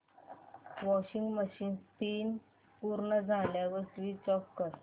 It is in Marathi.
वॉशिंग मशीन स्पिन पूर्ण झाल्यावर स्विच ऑफ कर